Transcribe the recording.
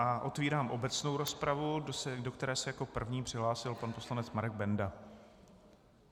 A otevírám obecnou rozpravu, do které se jako první přihlásil pan poslanec Marek Benda.